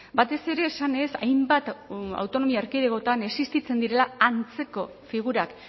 batez ere esanez hainbat autonomia erkidegotan existitzen direla antzeko figurak